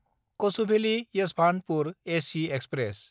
कछुभेलि–येसभान्तपुर AC express